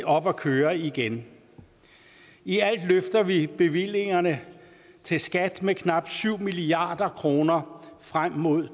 op at køre igen i alt løfter vi bevillingerne til skat med knap syv milliard kroner frem mod